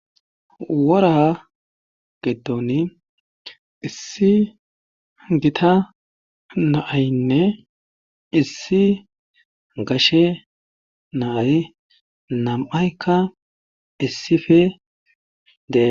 wora giton issi gita naaynne issi gashe naay nam7aykka issife dee